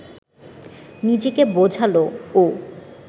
নিজেকে বোঝাল ও